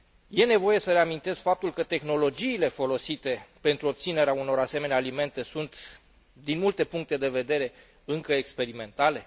Este nevoie să reamintesc faptul că tehnologiile folosite pentru obținerea unor asemenea alimente sunt, din multe puncte de vedere, încă experimentale?